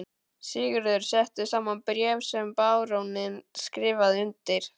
Sigurður setti saman bréf sem baróninn skrifaði undir.